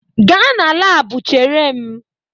Gaa na lab chere m!